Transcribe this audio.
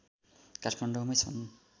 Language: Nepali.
काठमाडौँमै छन्